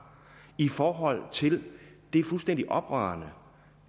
i forhold til det fuldstændig oprørende